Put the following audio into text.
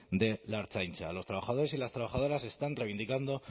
de la ertzaintza los trabajadores y las trabajadoras están reivindicando